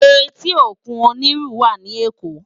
Éti ókún ónirú wá ni Ékó